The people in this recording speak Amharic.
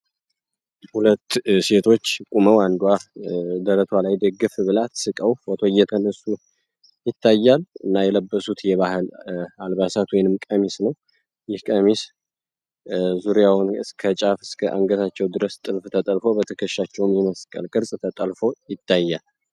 ሁለት ሴቶች ቁመው አንዷ ደረቷ ላይ ደግፍ ብላት ስቀው ፎቶ እየተንሱ ይታያል። እና የለበሱት የባህል አልባሳትም ቀሚስ ነው። ይህ ቀሚስ ዙሪያውን እስከ ጫፍ እስከ አንገታቸው ድረስ ጥልፍ ተጠልፎ በትከሻቸውን መስቀል ቅርጽ ተጠልፎ ይታያል።